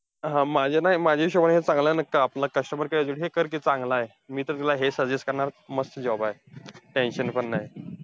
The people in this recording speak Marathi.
हं माझ्या ना माझ्या हिशोबाने, हे चांगला आपला customer care हे कर कि, चांगलाय. मी तर तुला हे suggest करणार. मस्त job आहे. tension पण नाय.